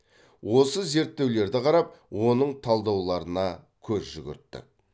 осы зерттеулерді қарап оның талдауларына көз жүгірттік